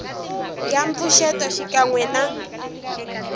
ya mpfuxeto xikan we na